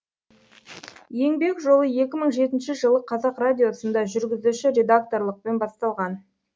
еңбек жолы екі мың жетінші жылы қазақ радиосында жүргізуші редакторлықпен басталған